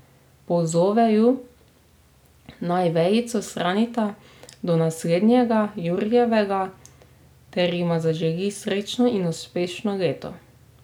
Pozove ju, naj vejico shranita do naslednjega jurjevega, ter jima zaželi srečno in uspešno leto.